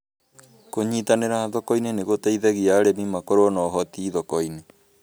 kũnyitanĩri thoko-inĩ nĩ gũteithagia arĩmi makorũo na ũhoti thoko-inĩ